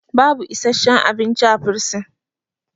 baba isasshen abinci a bursin